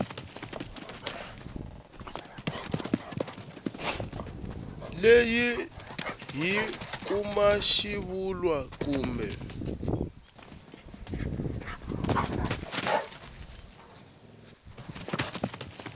leyi hi kuma xivulwa kumbe